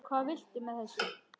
Hvað viltu með þessu?